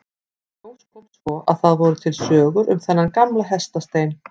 Í ljós kom svo að það voru til sögur um þennan gamla hestastein.